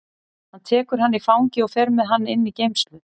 Hann tekur hann í fangið og fer með hann inn í geymslu.